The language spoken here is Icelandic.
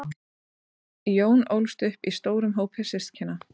jón ólst upp í stórum hópi systkina